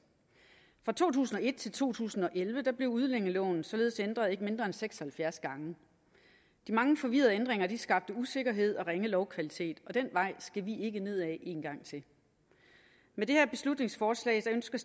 fra to tusind og et til to tusind og elleve blev udlændingeloven således ændret ikke mindre end seks og halvfjerds gange de mange forvirrede ændringer skabte usikkerhed og ringe lovkvalitet og den vej skal vi ikke ned ad en gang til med det her beslutningsforslag ønsker